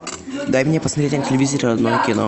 дай мне посмотреть на телевизоре родное кино